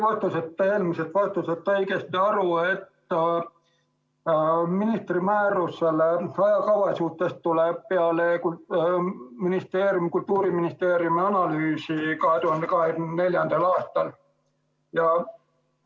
Kas ma sain teie eelmisest vastusest õigesti aru, et ministri määrus ajakava kohta tuleb peale Kultuuriministeeriumi analüüsi 2024. aastal?